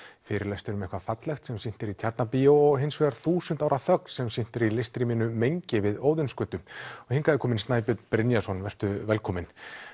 fyrirlestur um eitthvað fallegt sem sýnt er í Tjarnarbíó og hins vegar þúsund ára þögn sem sýnt er í listrýminu mengi við Óðinsgötu og hingað er kominn Snæbjörn Brynjarsson vertu velkominn